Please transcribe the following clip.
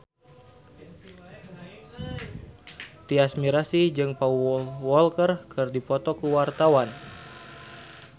Tyas Mirasih jeung Paul Walker keur dipoto ku wartawan